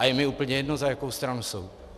A je mi úplně jedno, za jakou stranu jsou.